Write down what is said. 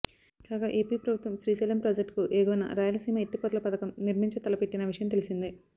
కాగా ఏపీ ప్రభుత్వం శ్రీశైలం ప్రాజెక్టుకు ఎగువన రాయలసీమ ఎత్తిపోతల పథకం నిర్మించ తలపెట్టిన విషయం తెలిసిందే